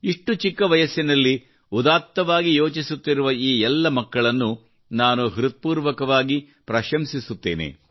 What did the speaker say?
ಇಷ್ಟು ಚಿಕ್ಕ ವಯಸ್ಸಿನಲ್ಲಿ ಉದಾತ್ತವಾಗಿ ಯೋಚಿಸುತ್ತಿರುವ ಈ ಎಲ್ಲ ಮಕ್ಕಳನ್ನು ನಾನು ಹೃತ್ಪೂರ್ವಕವಾಗಿ ಪ್ರಶಂಸಿಸುತ್ತೇನೆ